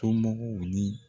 Somɔgɔw ni